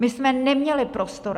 My jsme neměli prostor.